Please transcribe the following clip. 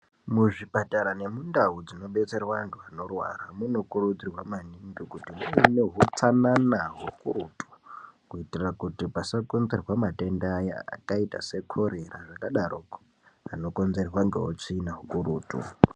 Muzvipatara nemundau dzinobetserwa vantu vanorwara munokurudzirwa kuti muve neutsanana hukurutu kuitira kuti pasakonzerwa matenda aya akaita sekorera akadaroko anokonzerwa neutsvina hukurutu.